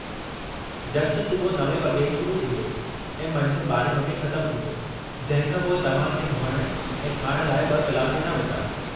जश्न सुबुहु 9 वॻे शुरू थींदो ऐं मंझंदि 12 वॻे ख़तमु थींदो, जंहिं खां पोइ तव्हां खे धोइण ऐं खाइण लाइ ॿ कलाक ॾिना वेंदा।